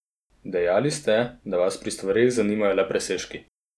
Dejali ste, da vas pri stvareh zanimajo le presežki.